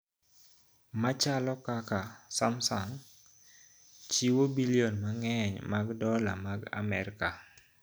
Machalo kaka, Samsung, chiwo bilion mang'eny mag dola mag Amerka